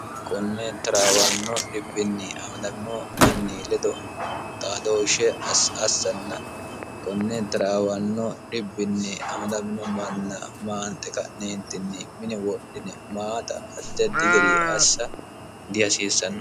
kunne tiraawanno dhibbinni amadamino manni ledo taadooshshe assanna kunne tiraawanno dhibbinni amadamino manna maante ka'neentinni mini wodhine maata deddi geri assa dihasiissanno